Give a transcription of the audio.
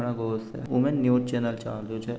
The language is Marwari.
उम न्यू चैनल चाल रो छ।